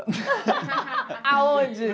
Aonde?